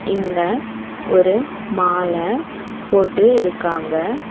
இங்க ஒரு மால போட்டு இருக்காங்க.